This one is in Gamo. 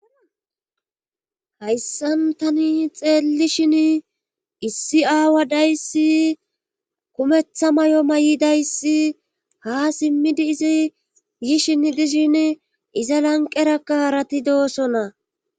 Hayssan tani xeelli shin issi aawa dayssi kumetha may'o may'idayssi ha simmidi izi yishin dishin iza lanqerakka harati doosona.